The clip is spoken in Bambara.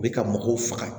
U bɛ ka mɔgɔw faga